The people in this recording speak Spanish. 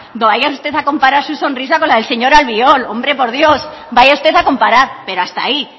no vaya usted a comparar su sonrisa con la del señor albiol hombre por dios vaya usted a comparar pero hasta ahí